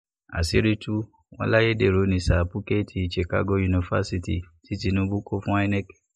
àṣírí tú wọn láyédèrú ní sábúkẹ́ẹ̀tì chicago yunifásitì tí tinubu kọ fún inec